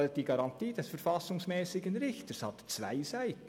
Die Garantie des verfassungsmässigen Richters hat zwei Seiten.